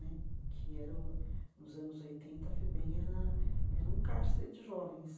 Né que era o nos anos oitenta, FEBEM, era era um cárcere de jovens.